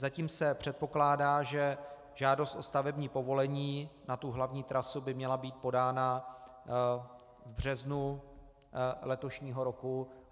Zatím se předpokládá, že žádost o stavební povolení na tu hlavní trasu by měla být podána v březnu letošního roku.